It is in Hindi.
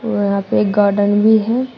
वहां पे एक गार्डन ही है।